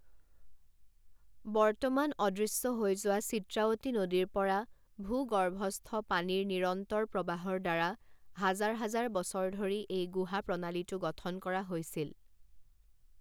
বৰ্তমান অদৃশ্য হৈ যোৱা চিত্ৰাৱতী নদীৰ পৰা ভূগৰ্ভস্থ পানীৰ নিৰন্তৰ প্ৰৱাহৰ দ্বাৰা হাজাৰ হাজাৰ বছৰ ধৰি এই গুহা প্ৰণালীটো গঠন কৰা হৈছিল।